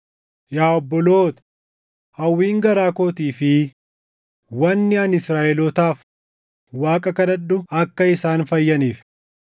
Yaa obboloota, hawwiin garaa kootii fi wanni ani Israaʼelootaaf Waaqa kadhadhu akka isaan fayyaniif.